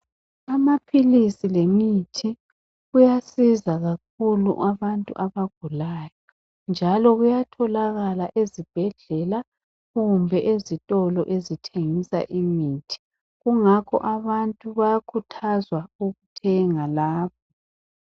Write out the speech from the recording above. Amaphilisi lemithi kuyasiza kakhulu abantu abagulayo, njalo kuyatholakala ezibhedlela kumbe ezitolo ezithengisa imithi. Kungakho abantu bayakhuthazwa ukuthenga lapho.